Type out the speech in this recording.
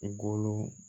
I golo